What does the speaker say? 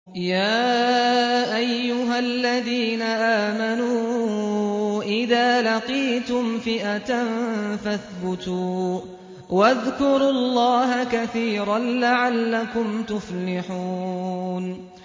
يَا أَيُّهَا الَّذِينَ آمَنُوا إِذَا لَقِيتُمْ فِئَةً فَاثْبُتُوا وَاذْكُرُوا اللَّهَ كَثِيرًا لَّعَلَّكُمْ تُفْلِحُونَ